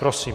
Prosím.